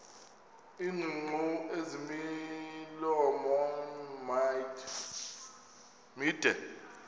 iingcungcu ezimilomo mide